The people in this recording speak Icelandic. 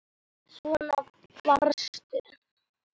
Svona varstu.